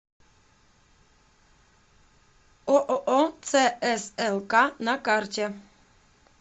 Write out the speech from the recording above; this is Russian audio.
ооо цслк на карте